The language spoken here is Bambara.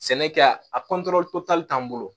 Sɛnɛ kɛ a a t'an bolo